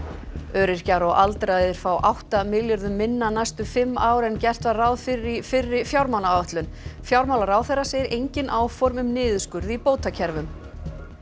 öryrkjar og aldraðir fá átta milljörðum minna næstu fimm ár en gert var ráð fyrir í fyrri fjármálaáætlun fjármálaráðherra segir engin áform um niðurskurð í bótakerfum